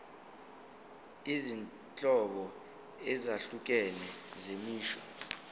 izinhlobo ezahlukene zemisho